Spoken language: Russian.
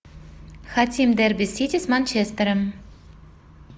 хотим дерби сити с манчестером